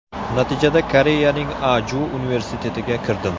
Natijada Koreyaning Aju universitetiga kirdim.